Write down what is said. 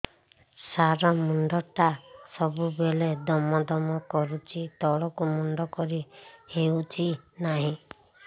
ସାର ମୁଣ୍ଡ ଟା ସବୁ ବେଳେ ଦମ ଦମ କରୁଛି ତଳକୁ ମୁଣ୍ଡ କରି ହେଉଛି ନାହିଁ